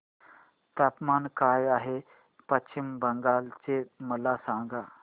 तापमान काय आहे पश्चिम बंगाल चे मला सांगा